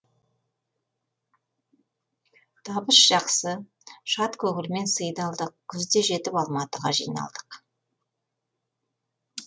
табыс жақсы шат көңілмен сый да алдық күз де жетіп алматыға жиналдық